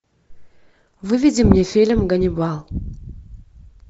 выведи мне фильм ганнибал